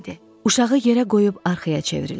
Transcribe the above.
Uşağı yerə qoyub arxaya çevrildim.